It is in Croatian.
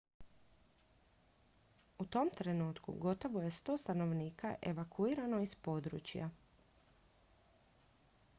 u tom trenutku gotovo je 100 stanovnika evakuirano iz područja